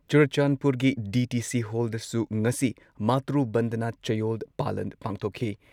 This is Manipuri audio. ꯆꯨꯔꯆꯥꯟꯗꯄꯨꯔꯒꯤ ꯗꯤ.ꯇꯤ.ꯁꯤ ꯍꯣꯜꯗꯁꯨ ꯉꯁꯤ ꯃꯥꯇ꯭ꯔꯨ ꯕꯟꯗꯅꯥ ꯆꯌꯣꯜ ꯄꯥꯂꯟ ꯄꯥꯡꯊꯣꯛꯈꯤ ꯫